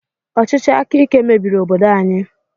Ọchịchị akaike mebiri obodo anyị.